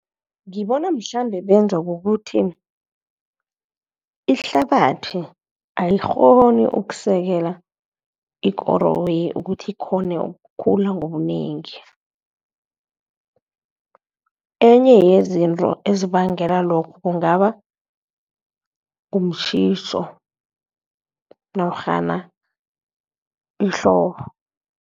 Ngibona mhlambe benzwa kukuthi, ihlabathi ayikghoni ukusekela ikoroyi ukuthi ikghone ukukhula ngobunengi. Enye yezinto ezibangela lokhu kungaba mtjhiso norhana ihlobo.